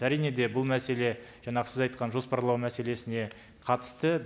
әрине де бұл мәселе жаңағы сіз айтқан жоспарлау мәселесіне қатысты